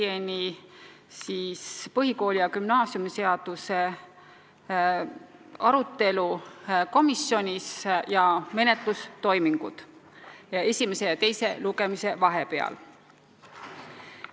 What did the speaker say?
Toon teieni põhikooli- ja gümnaasiumiseaduse arutelu komisjonis ja menetlustoimingud esimese ja teise lugemise vahepeal.